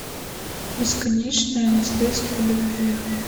бесконечное наследство любви